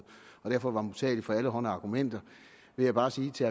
og derfor var modtagelig for alle hånde argumenter vil jeg bare sige til